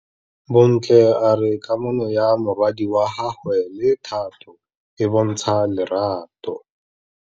Bontle a re kamanô ya morwadi wa gagwe le Thato e bontsha lerato.